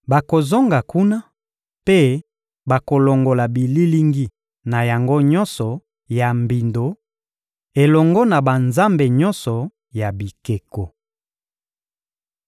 Bakozonga kuna mpe bakolongola bililingi na yango nyonso ya mbindo elongo na banzambe nyonso ya bikeko.